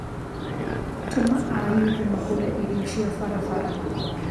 Tũma ayuthi magũre irio cia barabara